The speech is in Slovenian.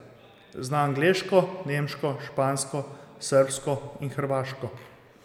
Zna angleško, nemško, špansko, srbsko in hrvaško.